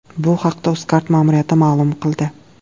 Bu haqda Uzcard ma’muriyati ma’lum qildi .